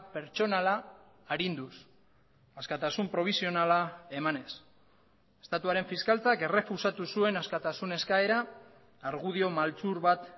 pertsonala arinduz askatasun probisionala emanez estatuaren fiskaltzak errefusatu zuen askatasun eskaera argudio maltzur bat